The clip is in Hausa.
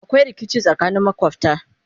akwai rikici tsakanin makwafta